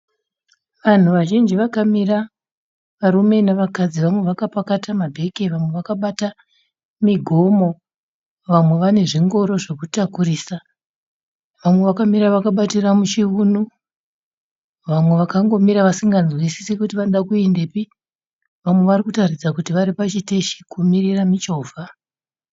Vanhu vazhinji vakamira varume nevakadzi. Vamwe vakapakata mabheke. Vamwe vakabata migomo. Vamwe vane zvingoro zvekutakurisa. Vamwe vakamira vakabatira muchiuno. Vamwe vakangomira vasinganzwisisiki kuti varikuda kuendepi. Vamwe vanotaridza kuti vari pachiteshi kumirira michovha.